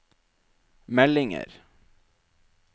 meldinger